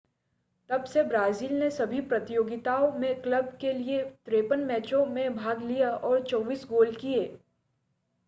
तब से ब्राज़ील ने सभी प्रतियोगिताओं में क्लब के लिए 53 मैचों में भाग लिया और 24 गोल किए